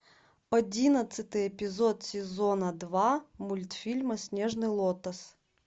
одиннадцатый эпизод сезона два мультфильма снежный лотос